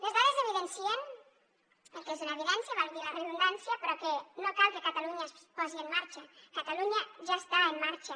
les dades evidencien el que és una evidència valgui la redundància però que no cal que catalunya es posi en marxa catalunya ja està en marxa